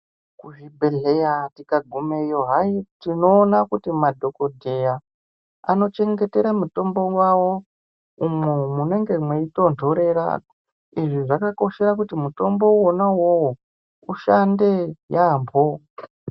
Kuzvibhedhlera tikagumeyo hayi tinoona kuti madhokodheya anochengetera mitombo wavo umwo munenge mweitonhorera. Izvi vanoitire kuti mutombo wona uwowo ushande yaamho.